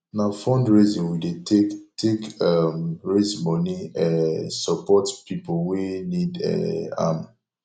na fundraising we dey take take um raise moni um support pipo wey need um am